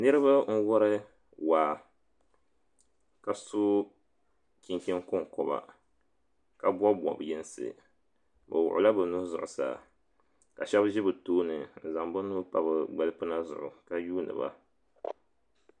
Niriba n wari waa ka so chinchin konkoba ka bobi bob yinsi bɛ wuɣila bɛ nuhi zuɣusaa ka shɛba ʒi bɛ tooni n zaŋ bɛ nuu pa bɛ gbalipina zuɣu ka yuuni ba.